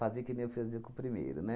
que nem eu fazia com o primeiro, né?